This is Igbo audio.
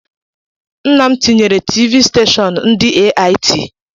Nnam tinyere Tiivii steshọọnu ndị AIT